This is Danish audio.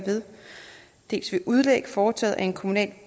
dels ved udlæg foretaget af en kommunal